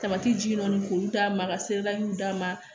ji jiginnun k'olu d'a ma ka se d'a ma